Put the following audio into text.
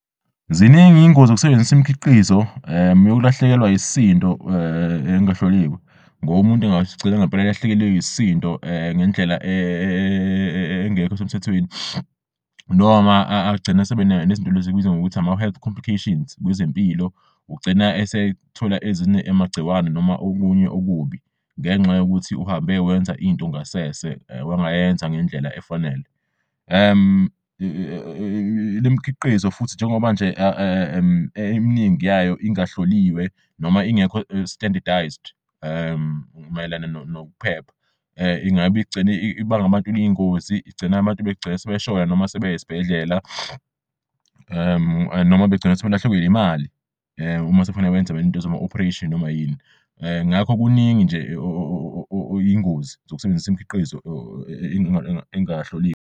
Ziningi iy'ngozi zokusebenzisa imikhiqizo yokulahlekelwa yisindo engahloliwe ngob'umuntu angagcina ngempela elahlekelwe isindo ngendlela engekh'esemthethweni noma agcina asebenezinto lez'esibiza ngokuthi ama-health complications kwezempilo. Ugcina esethola amagciwane noma okunye okubi ngenxa yokuthi uhambe wenza into ngasese wangayenza ngendlela efanele. Lemikhiqizo futhi njengoba nje eminingi yayo ingahloliwe noma ingekho standardised mayelana nokuphepha, ingab'igcina ibanga iy'ngozi igcine abantu sebeshona noma sebey'esibhedlela noma begcine sebelahlekelw' imali uma sekufanel'wenz into zama-operation noma yini ngakho kuningi nje okuyingozi zokusebenzis'imikhiqizo engahloliwe.